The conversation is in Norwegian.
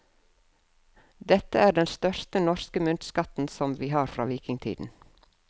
Dette er den største norske myntskatten vi har fra vikingtiden.